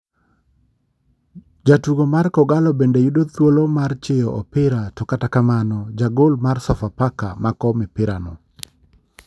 Jatugo mar kogallo bende yudo thuolo mar chiyo opira to kata kamano jagol mar sofafak mako opirano